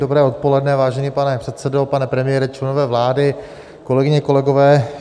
Dobré odpoledne, vážený pane předsedo, pane premiére, členové vlády, kolegyně, kolegové.